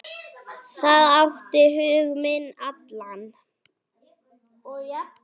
Það átti hug minn allan.